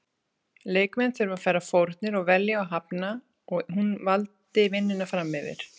Leikmenn þurfa að færa fórnir og velja og hafna og hún valdi vinnuna framyfir.